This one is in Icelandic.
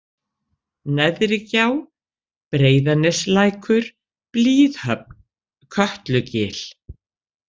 Neðrigjá, Breiðaneslækur, Blíðhöfn, Kötlugil